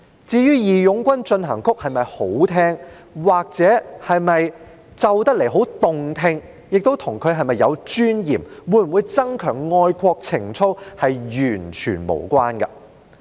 至於"義勇軍進行曲"是否好聽，又或彈奏起來是否很動聽，與它是否有尊嚴，會否增強愛國情操，是完全無關的。